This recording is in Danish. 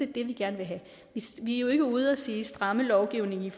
det vi gerne vil have vi er jo ikke ude og sige stramme lovgivningen